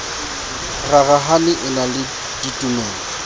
rarahane e na le ditumelo